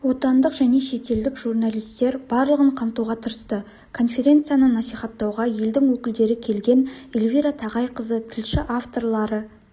отандық және шетелдік журналистер барлығын қамтуға тырысты конференцияны насихаттауға елдің өкілдері келген эльвира тағайқызы тілші авторлары